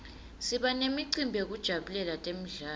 siba nemicimbi yekujabulela temidlalo